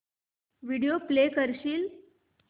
video play करशील